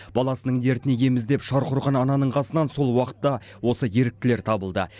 баласының дертіне ем іздеп шарқ ұрған ананың қасынан сол уақытта осы еріктілер табылды